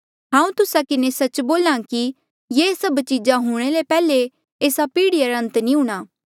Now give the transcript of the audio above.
हांऊँ तुस्सा किन्हें सच्च बोल्हा कि ये सभ चीजा हूणे ले पैहले एस्सा पीढ़िया रा अंत नी हूंणां